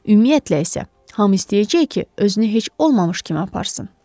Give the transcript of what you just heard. Ümumiyyətlə isə hamı istəyəcək ki, özünü heç olmamış kimi aparsın.